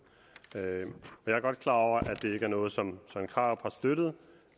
jeg er godt klar over at det ikke er noget som søren krarup har støttet